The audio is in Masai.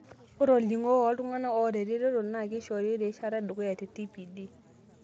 Ore olning'o woltung'anak oota eretoto na keishori erishata edukuya te TPD.